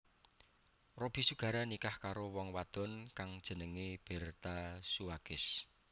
Robby Sugara nikah karo wong wadon kang jenengé Bertha Suwages